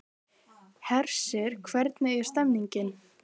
Hersir, hvernig er stemningin?